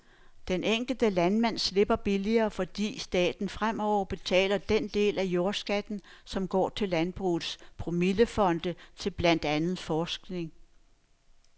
Den enkelte landmand slipper billigere, fordi staten fremover betaler den del af jordskatten, som går til landbrugets promillefonde til blandt andet forskning.